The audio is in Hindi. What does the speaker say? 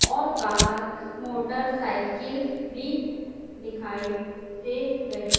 और बाहर मोटरसाइकिल भी दिखाई दे रही--